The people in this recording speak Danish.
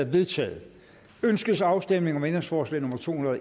vedtaget ønskes afstemning om ændringsforslag nummer to hundrede og